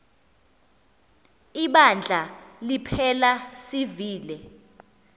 ibandla liphela sivile